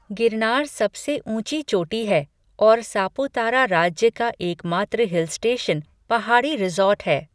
गिरनार सबसे ऊंची चोटी है, और सापुतारा राज्य का एकमात्र हिल स्टेशन, पहाड़ी रिसॉर्ट है।